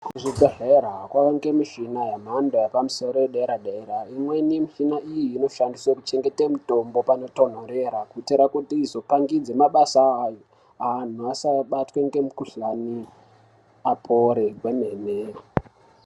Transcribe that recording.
Kuzvibhendlera kwawanda michina yemhando yepamusoro yedera dera. Imweni mishina iyi inoshandiswa kuchengeta mitombo panotonhorera. Kuitira kuti izopangidza mabasa ayo antu asabatwa ngemukhuhlani apore kwemene.